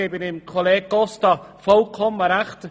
Ich gebe Kollege Costa vollkommen recht: